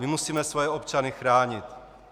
My musíme svoje občany chránit.